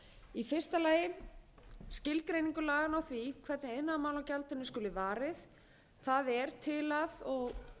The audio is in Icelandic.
í fyrsta lagi skilgreiningu laganna á því hvernig iðnaðarmálagjaldinu skuli varið það er til að vinna að eflingu iðnaðar og iðnþróunar